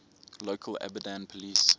local abadan police